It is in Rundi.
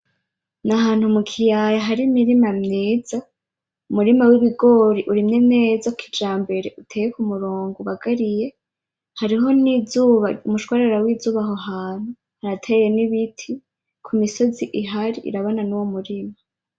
N'ahantu mu kiyaya hari imirima myiza, umurima w'ibigori urimye neza kijambere, uteye k'umurongo ,ubagariye. Hariho n'umushwarara w'izuba aho hantu, harateye n'ibiti kumisozi ihari irabana nuwo murima.